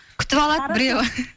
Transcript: күтіп алады біреуі